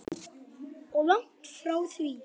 Og langt frá því.